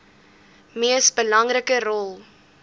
mees belangrike rol